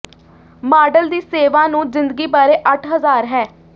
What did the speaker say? model ਦੀ ਸੇਵਾ ਨੂੰ ਜ਼ਿੰਦਗੀ ਬਾਰੇ ਅੱਠ ਹਜ਼ਾਰ ਹੈ